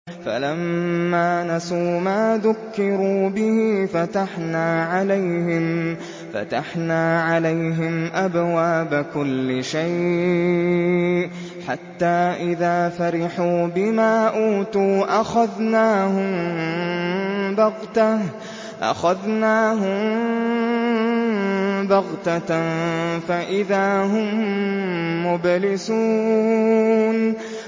فَلَمَّا نَسُوا مَا ذُكِّرُوا بِهِ فَتَحْنَا عَلَيْهِمْ أَبْوَابَ كُلِّ شَيْءٍ حَتَّىٰ إِذَا فَرِحُوا بِمَا أُوتُوا أَخَذْنَاهُم بَغْتَةً فَإِذَا هُم مُّبْلِسُونَ